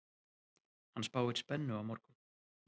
Hann spáir spennu á morgun.